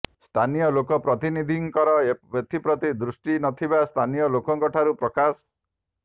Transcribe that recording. ସ୍ଥାନୀୟ ଲୋକ ପ୍ରତିନିଧିଙ୍କର ଏଥିପ୍ରତି ଦୃଷ୍ଟି ନଥିବା ସ୍ଥାନୀୟ ଲୋକଙ୍କ ଠାରୁ ପ୍ରକାଶ